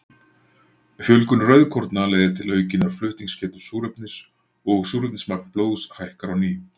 Fjölgun rauðkorna leiðir til aukinnar flutningsgetu súrefnis og súrefnismagn blóðs hækkar á ný.